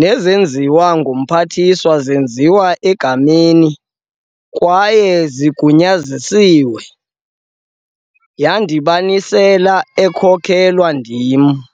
nezenziwe nguMphathiswa zenziwe egameni, kwaye zigunyaziswe, yandibanisela ekhokelwa ndim.